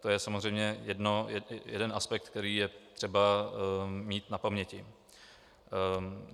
To je samozřejmě jeden aspekt, který je třeba mít na paměti.